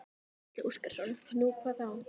Gísli Óskarsson: Nú, hvað þá?